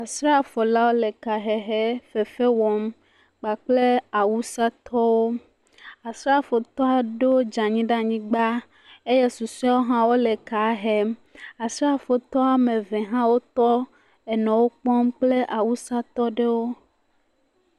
srafolawo le ka hehe fefe wɔm kpakple awusa tɔwo asrafo tɔ aɖewo dzanyi ɖa'nyigba eye susoewo hã wóle ka hem asrafo tɔ woameve hã wó tɔ nɔ wó kpɔm kple awusatɔɖewo